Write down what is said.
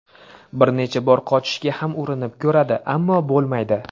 Bir necha bor qochishga ham urinib ko‘radi, ammo bo‘lmaydi.